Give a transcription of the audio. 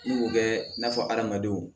N'u bɛ n'a fɔ hadamadenw